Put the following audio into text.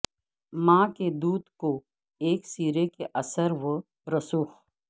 ماں کے دودھ کو ایکسرے کے اثر و رسوخ